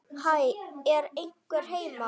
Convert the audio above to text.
Hæ, er einhver heima?